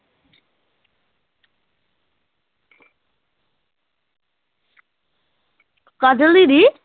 ਕਾਜਲ ਦੀਦੀ